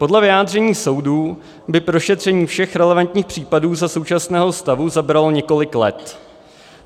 Podle vyjádření soudů by prošetření všech relevantních případů za současného stavu zabralo několik let.